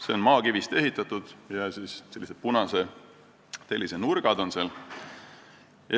See on maakivist ehitatud ja siis on seal sellised punasest tellisest nurgad.